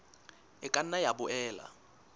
e ka nna ya boela